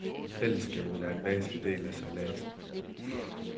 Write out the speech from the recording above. Fællesskabet er en væsentlig del af sejladsen.